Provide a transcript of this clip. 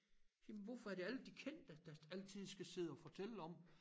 Jamen hvorfor er det alle de kendte der altid skal sidde og fortælle om